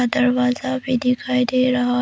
दरवाजा भी दिखाई दे रहा--